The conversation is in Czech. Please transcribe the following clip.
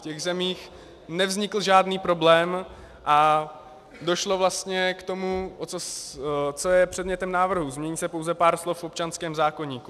V těch zemích nevznikl žádný problém a došlo vlastně k tomu, co je předmětem návrhu, změní se pouze pár slov v občanském zákoníku.